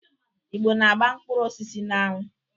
Igbo na agba mkpụrụ osisi n'anwu.